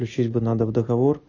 включить бы надо в договор